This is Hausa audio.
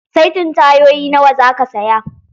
Saitin tayoyi nawa zaka saya?